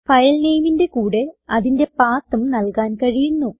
file nameന്റെ കൂടെ അതിന്റെ pathഉം നൽകാൻ കഴിയുന്നു